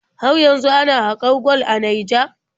Har yanzu ana haƙar gwal a Naija?